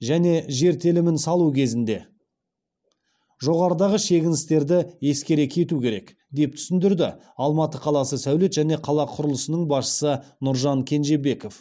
және жер телімін салу кезінде жоғарыдағы шегіністерді ескере кету керек деп түсіндірді алматы қаласы сәулет және қала құрылысының басшысы нұржан кенжебеков